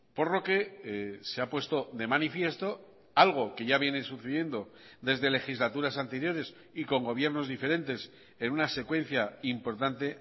por lo que se ha puesto de manifiesto algo que ya viene sucediendo desde legislaturas anteriores y con gobiernos diferentes en una secuencia importante